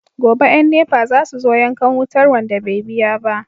Gobe yan NEPA zasu zo yankan wutar wanda be biya ba